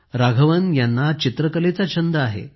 राघवन यांना चित्रकलेचा छंद आहे